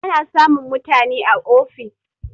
Ana samun mutani a ofis